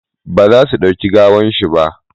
ba za a dauki gawan shi ba!